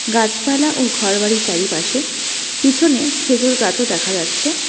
গাছপালা ও ঘরবাড়ি চারিপাশে পিছনে খেজুর গাছও দেখা যাচ্ছে।